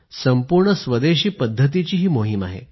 संपूर्ण स्वदेशी पद्धतीची मोहीम आहे